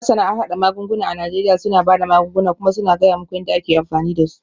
Masana harhada magunguna a Najeriya suna ba da magunguna kuma suna gaya muku yadda ake amfani da su.